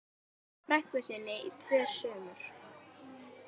frænku sinni í tvö sumur.